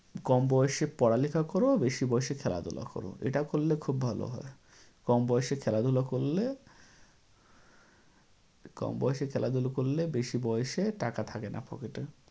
কম বয়সে পড়ালেখা কর আর বেশি বয়সে খেলাধুলা কর, এটা করলে খুব ভালো হয়। কম বয়সে খেলাধুলা করলে কম বয়সে খেলাধুলা করলে বেশি বয়সে টাকা থাকেনা pocket এ।